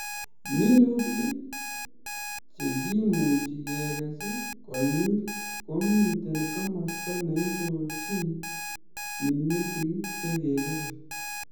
minutik che kemuchi kekes konyil komite komasta neindochin minutik che kakekes